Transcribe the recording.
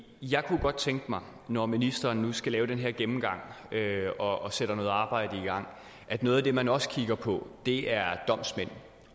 jeg kunne godt tænke mig når ministeren nu skal lave den her gennemgang og sætter noget arbejde i gang at noget af det man også kigger på er domsmænd